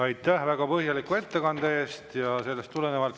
Aitäh väga põhjaliku ettekande eest!